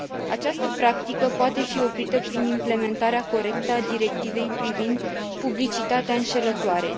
Această practică poate fi oprită prin implementarea corectă a directivei privind publicitatea înșelătoare.